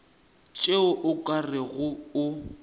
tšeo o ka rego o